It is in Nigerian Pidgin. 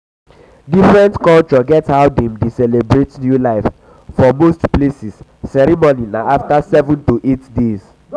different culture get how dem dey celebrate new life for most places ceremony na after 7 to 8 days